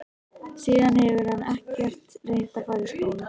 Síðan hefur hann ekkert reynt að fara í skóla.